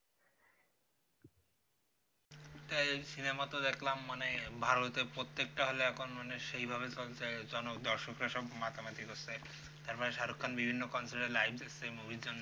cinema তো দেখলাম মানে ভালোই তো প্রত্যেক টা hall এ এখন মানে সেই ভাবে চলছে দর্শকরা সব মাতামাতি করসে তারপর shahrukh khan এর বিভিন্ন concert এ লাইন দিসসে movie তে